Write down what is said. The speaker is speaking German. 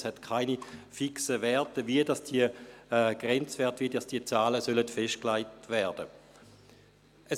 es gab keine fixen Werte, wie die Grenzwerte, wie diese Zahlen festgelegt werden sollen.